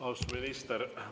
Austatud minister!